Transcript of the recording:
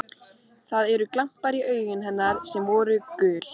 Það eru glampar í augum hennar sem áður voru gul.